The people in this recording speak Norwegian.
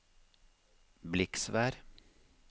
Bliksvær